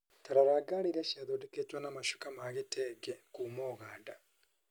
Ta rora ngari iria ciathondeketwo na macuka ma gĩtenge kuuma Uganda.